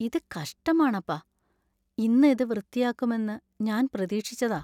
ഇത് കഷ്ടമാണപ്പാ. ഇന്ന് ഇത് വൃത്തിയാക്കുമെന്ന് ഞാൻ പ്രതീക്ഷിച്ചതാ.